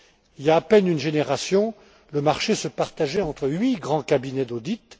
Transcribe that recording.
Il y a à peine une génération, ce marché se partageait entre huit grands cabinets d'audit.